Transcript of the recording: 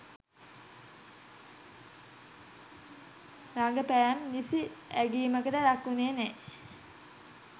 රඟ පැම් නිසි අගැයීමකට ලක්වුනේ නෑ.